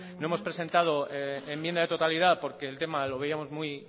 no hemos presentado enmienda de totalidad porque el tema lo veíamos muy